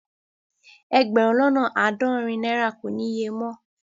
Ẹgbérùn lọ́nà aádọ́rìn naira kò ní ìyè mọ